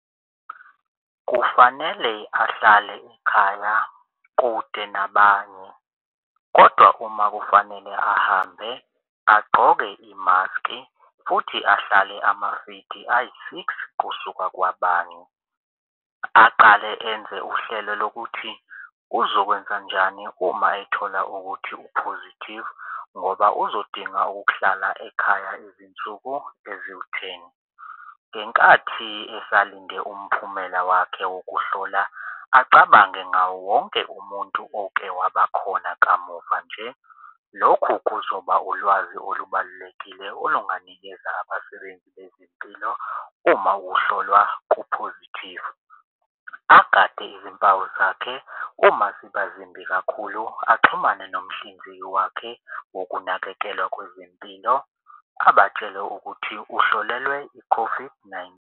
Kufanele ahlale ekhaya kude nabanye kodwa uma kufanele ahambe agqoke imaski futhi ahlale amaviki ayi-six kusuka kwabanye. Aqale enze uhlelo lokuthi uzokwenza njani uma ethola ukuthi u-positive ngoba uzodinga ukuhlala ekhaya izinsuku eziwutheni. Ngenkathi esalinde umphumela wakhe wokuhlola acabange ngawonke umuntu oke wabakhona kamuva nje. Lokhu kuzoba ulwazi olubalulekile olunganikeza abasebenzi bezempilo uma ukuhlolwa ku-positive. Agade izimpawu zakhe uma ziba ezimbi kakhulu, axhumane nomhlinzeki wakhe wokunakekelwa kwezempilo abatshele ukuthi uhlolelwe i-COVID nine.